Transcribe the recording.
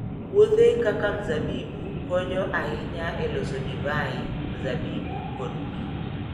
Puothe kaka mzabibu konyo ahinya e loso divai, mzabibu, kod pi.